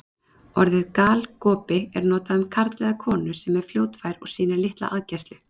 Orðið galgopi er notað um karl eða konu sem er fljótfær og sýnir litla aðgæslu.